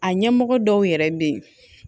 A ɲɛmɔgɔ dɔw yɛrɛ bɛ yen